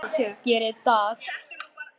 Geri það.